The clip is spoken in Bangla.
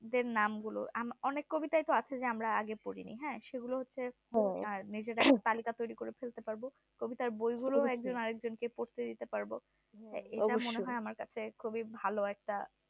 কবিদের নাম গুলো অনেক কবিতায় তো আছে যে আমরা আগে পড়িনি হ্যাঁ সেগুলো হচ্ছে তালিকা তৈরি করতে ফেলতে পারবোকবিতার বই গুলো একজন আরেকজনকে পড়তে দিতে পারবো এটা মনে হয় আমার কাছে খুবই ভালো একটা।